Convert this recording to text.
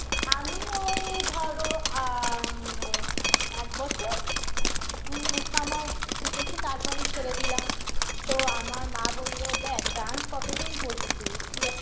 আমি ওই ধরো আ ম এক বছর মম some out শিখেছি তারপর আমি ছেড়ে দিলাম তো আমার মা বলল দেখ dance কতদিন করবি তুই তুই এক